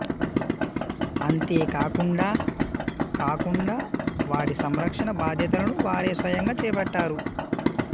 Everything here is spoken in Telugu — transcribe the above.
అంతేకాకుండా కాకుండా వాటి సంరక్షణ బాధ్యతలను వారే స్వయంగా చేపట్టారు